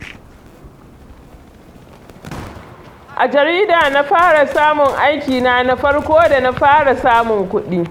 A jarida na fara samun aikina na farko da na fara samun kuɗi